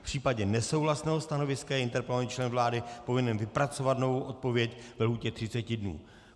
V případě nesouhlasného stanoviska je interpelovaný člen vlády povinen vypracovat novou odpověď ve lhůtě 30 dnů.